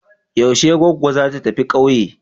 Yaushe goggo za ta tafi kauye?